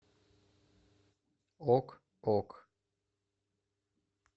ок ок